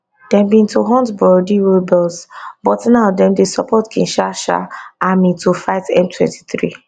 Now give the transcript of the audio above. dem bin to hunt burundi rebels but now dem dey support kinshasa army to fight m23